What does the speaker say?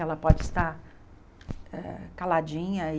Ela pode estar eh caladinha e...